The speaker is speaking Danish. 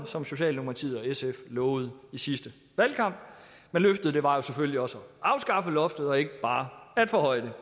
som socialdemokratiet og sf lovede i sidste valgkamp men løftet var selvfølgelig også at afskaffe loftet og ikke bare at forhøje